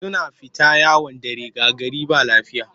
Suna fita yawon dare ga gari ba lafiya